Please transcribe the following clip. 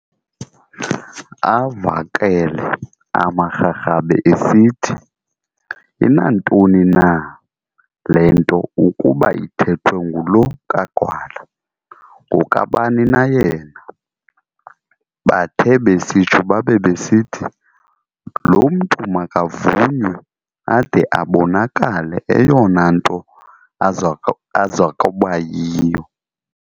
Avakele amaRharhabe esithi, "Inantoni na le nto ukuba ithethwe ngulo kaGwala, ngokabani na yena? Bathe besitsho babe besithi, "loo mntu makavunywe ade abonakale eyona nto azokuba yiyo".